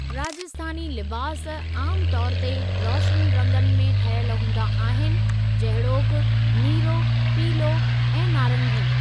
राजस्थानी लिबास आमु तौर ते रोशनु रंगनि में ठहियल हूंदा आहिनि जहिड़ोकि नीरो, पीलो ऐं नारंगी।